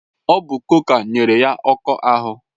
Ọ bụ chòkà nyere ya ọkụ ahụ